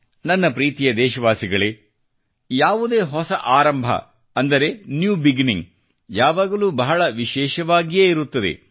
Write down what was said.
ನನ್ನ ಪ್ರೀತಿಯ ದೇಶವಾಸಿಗಳೇ ಯಾವುದೇ ಹೊಸ ಆರಂಭ ಅಂದರೆ ನ್ಯೂ ಬಿಗಿನಿಂಗ್ ಯಾವಾಗಲೂ ಬಹಳ ವಿಶೇಷವಾಗಿಯೇ ಇರುತ್ತದೆ